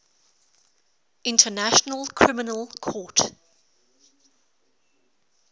international criminal court